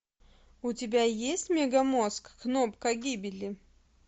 у тебя есть мегамозг кнопка гибели